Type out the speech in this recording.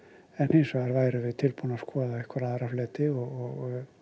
hins vegar værum við tilbúnir að skoða einhverja aðra fleti og